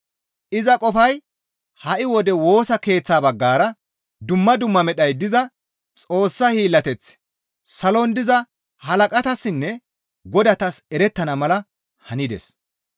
Iza qofay ha7i wode Woosa Keeththa baggara dumma dumma medhay diza Xoossa hiillateththi salon diza halaqatassinne godatas erettana mala hanides.